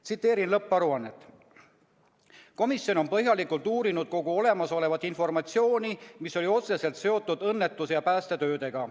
Tsiteerin lõpparuannet: "Komisjon on põhjalikult uurinud kogu olemasolevat informatsiooni, mis on otseselt seotud õnnetuse ja päästetöödega.